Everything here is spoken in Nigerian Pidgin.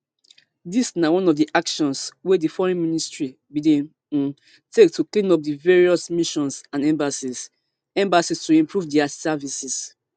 dis na one of di actions wey di foreign ministry bin dey um take to clean up di various missions and embassies embassies to improve dia services